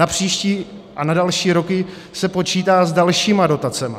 Na příští a na další roky se počítá s dalšími dotacemi.